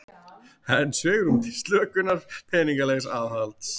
Enn svigrúm til slökunar peningalegs aðhalds